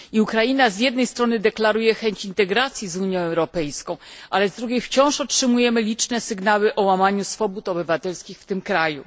Ukraina z jednej strony deklaruje chęć integracji z Unią Europejską, ale z drugiej strony wciąż otrzymujemy liczne sygnały o łamaniu swobód obywatelskich w tym kraju.